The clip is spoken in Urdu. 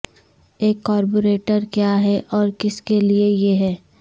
ایک کاربوریٹر کیا ہے اور کس کے لئے یہ ہے